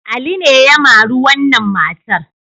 Ali ne ya mari wannan matar.